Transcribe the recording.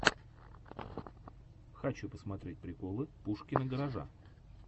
хочу посмотреть приколы пушкина гаража